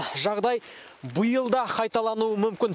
жағдай биыл да қайталануы мүмкін